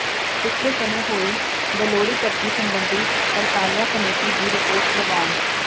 ਪਿਛਲੇ ਸਮੇਂ ਹੋਈ ਬੇਲੋੜੀ ਭਰਤੀ ਸਬੰਧੀ ਪੜਤਾਲੀਆ ਕਮੇਟੀ ਦੀ ਰਿਪੋਰਟ ਪ੍ਰਵਾਨ